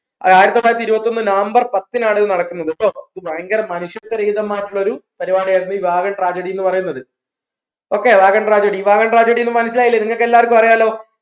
ആയിരത്തിത്തൊള്ളായിരത്തി ഇരുപത്തൊന്ന് നവംബർ പത്തിനാണ് ഇത് നടക്കുന്നത് കേട്ടോ ഇത് ഭയങ്കര മനുഷ്യത്വരഹിതമായിട്ടുള്ള ഒരു പരിപാടിയായിരുന്നു ഈ വാഗൺ tragedy എന്ന് പറയുന്നത് okay wagon tragedy wagon tragedy ന്ന് മനസ്സിലായില്ലേ നിങ്ങൾക്ക് എല്ലാർക്കുംഅറിയാലോ